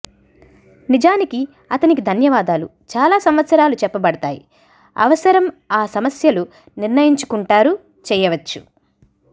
నిజానికి అతనికి ధన్యవాదాలు చాలా సంవత్సరాలు చెప్పబడతాయి అవసరం ఆ సమస్యలు నిర్ణయించుకుంటారు చేయవచ్చు